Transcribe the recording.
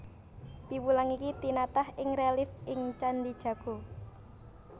Piwulang iki tinatah ing relief ing Candhi Jago